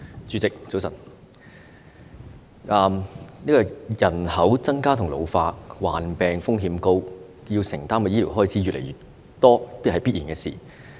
主席，早晨，人口增加及老化，加上患病風險高，要承擔的醫療開支越來越多，這是必然的事。